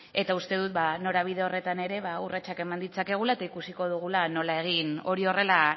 eta uste dut norabide horretan ere urratsak eman ditzakegula eta ikusiko dugula nola egin hori horrela